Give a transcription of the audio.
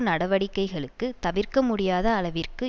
நடவடிக்கைகளுக்கு தவிர்க்க முடியாத அளவிற்கு